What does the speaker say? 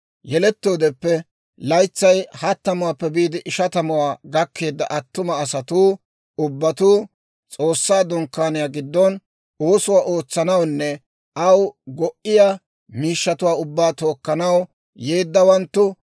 Yelettoodeppe laytsay hattamuwaappe biide ishatamuwaa gakkeedda attuma asatuu ubbatuu, S'oossaa Dunkkaaniyaa giddon oosuwaa ootsanawunne aw go"iya miishshatuwaa ubbaa tookkanaw yeeddawanttu